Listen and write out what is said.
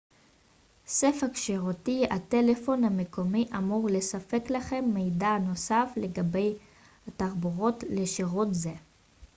ספק שירותי הטלפון המקומי אמור לספק לכם מידע נוסף לגבי התחברות לשירות זה